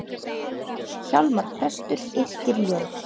Hjálmar prestur yrkir ljóð.